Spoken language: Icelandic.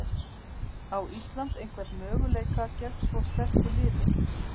Á Ísland einhvern möguleika gegn svo sterku liði?